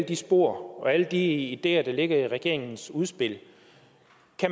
de spor og alle de ideer der ligger i regeringens udspil